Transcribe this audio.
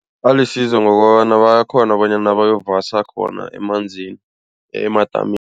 Alisizo ngokobana bayakghona bonyana bayokuvasa khona emadamini.